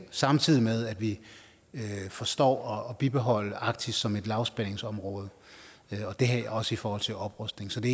samtidig med at vi forstår at bibeholde arktis som et lavspændingsområde også i forhold til oprustning så det